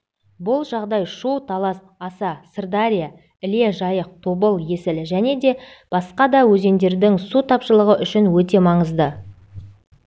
бұл жағдай шу-талас аса сырдария іле жайық тобыл есіл және басқа да өзендердің су тапшылығы үшін өте маңызды